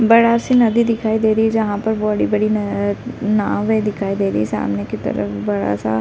बड़ा सी नदी दिखाई दे रही है जहाँ पर बड़ी-बड़ी नावें दिखाई दे रही हैं सामने की तरफ बड़ा सा --